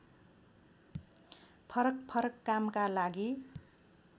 फरकफरक कामका लागि